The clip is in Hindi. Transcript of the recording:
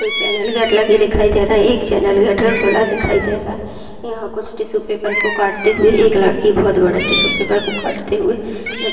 एक दो चैनल गेट लगे दिखाई दे रहे हैं एक चैनल गेट खुला हुआ दिखाई दे रहा है यहाँ कुछ टिशू पेपर को काटते हुए एक लड़की बहुत बड़े टिश्यू पेपर को काटते हुए--